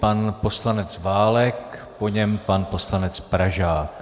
Pan poslanec Válek, po něm pan poslanec Pražák.